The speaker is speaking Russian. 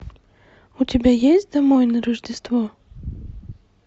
у тебя есть домой на рождество